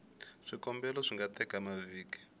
swikombelo swi nga teka mavhiki